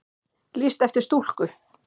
Lýst eftir stúlku